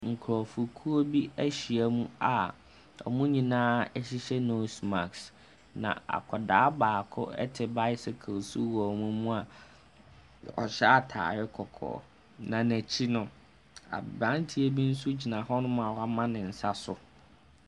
Nkurɔfokuo bi ahyiam a wɔn nyinaa hyehyɛ nose mask, na akwadaa baako te bicycle so wɔ wɔn mu a ɔhyɛ atare kɔkɔɔ. Na n'akyi no, aberanteɛ bi nso gyina hɔnom a wama ne nsa so.